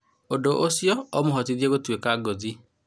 ũndũ ũcio ũmũhotithĩtie gũtũĩka ngũthi."